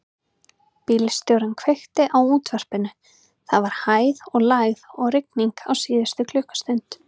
Bílstjórinn kveikti á útvarpinu: það var hæð og lægð og rigning á síðustu klukkustund.